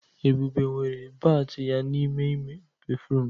Ebube nwere bat ya n'ime ime béfrụm.